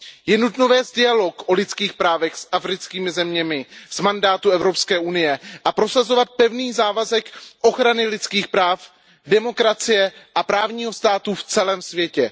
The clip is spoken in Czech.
Je nutno vést dialog o lidských právech s africkými zeměmi z mandátu Evropské unie a prosazovat pevný závazek ochrany lidských práv, demokracie a právního státu v celém světě.